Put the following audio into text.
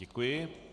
Děkuji.